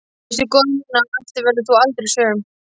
Veistu góða mín að á eftir verður þú aldrei söm.